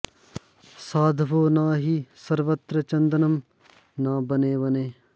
साधवो न हि सर्वत्र चन्दनं न वने वने